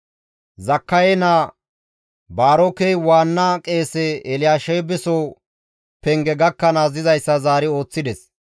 Zakkaye naa Baarokey waanna qeese Elyaasheebeso penge gakkanaas dizayssa zaari ooththides.